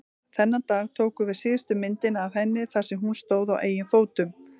Þennan dag tókum við síðustu myndina af henni þar sem hún stóð á eigin fótum.